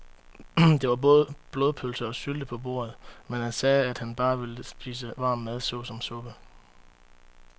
Der var både blodpølse og sylte på bordet, men han sagde, at han bare ville spise varm mad såsom suppe.